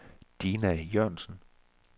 Dina Jørgensen